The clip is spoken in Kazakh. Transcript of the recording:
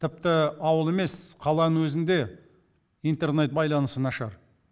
тіпті ауыл емес қаланың өзінде интернет байланысы нашар